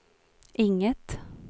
inget